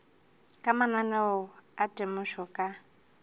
ka mananeo a temošo ka